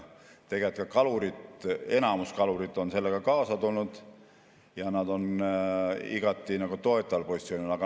Tegelikult ka enamus kalureid on sellega kaasa tulnud ja nad on igati toetaval positsioonil.